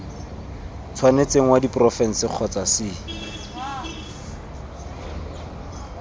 tshwanetseng wa diporofense kgotsa c